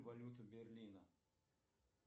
валюту берлина